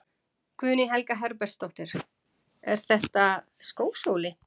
Guðný Helga Herbertsdóttir: Er þetta skósóli?